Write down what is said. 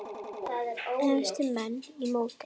Efstu menn í mótinu